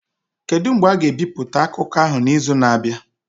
Kedu mgbe a ga-ebipụta akụkọ ahụ n'izu na-abịa?